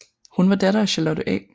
Hun var datter af Charlotte A